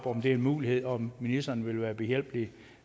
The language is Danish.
om det er en mulighed og om ministeren vil være behjælpelig